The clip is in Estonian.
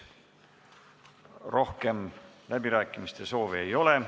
Rohkem kõnesoove ei ole.